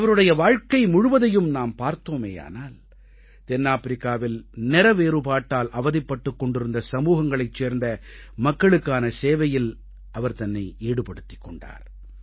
அவருடைய வாழ்க்கை முழுவதையும் நாம் பார்த்தோமேயானால் தென்னாப்பிரிக்காவில் நிறவேறுபாட்டால் அவதிப்பட்டுக் கொண்டிருந்த சமூகங்களைச் சேர்ந்த மக்களுக்கான சேவையில் அவர் தன்னை ஈடுபடுத்திக் கொண்டார்